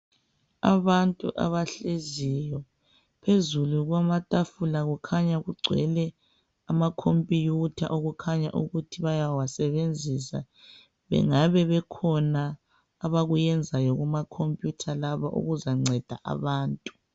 Abantu abahleziyo, phezulu kwamatafula kukhanya kugcwele amakhompiyutha okukhanya ukuthi bayawasebenzisa bengabe bekhona abakuyenzayo kumakhompiyutha laba okuzanceda abantu.